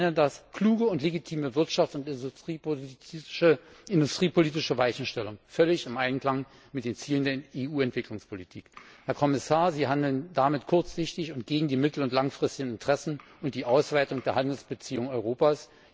Ich nenne das kluge und legitime Wirtschaftspolitik und industriepolitische Weichenstellung, völlig im Einklang mit den Zielen der EU Entwicklungspolitik. Herr Kommissar, Sie handeln damit kurzsichtig und gegen die mittel und langfristigen Interessen und die Ausweitung der Handelsbeziehungen Europas.